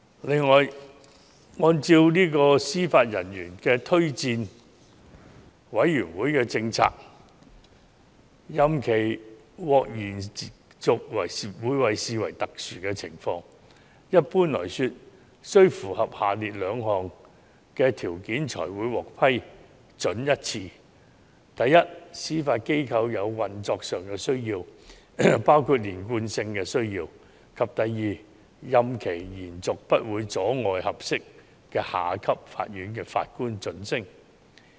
此外，按照司法人員推薦委員會的政策，任期獲延續會被視為特殊情況，一般來說須符合下列兩項條件才會獲得批准：第一，司法機構有運作上的需要，包括連貫性的需要；第二，任期延續不會阻礙合適的下級法院法官晉升。